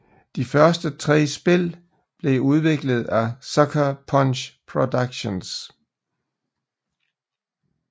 De første tre spil blev udviklet af Sucker Punch Productions